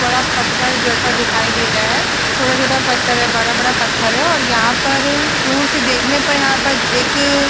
बड़ा पत्थर जैसा दिखाई दे रहा है। छोटा-छोटा पत्थर है। बड़ा-बड़ा पत्थर है और यहां पर दूर से देखने यहां पर एक --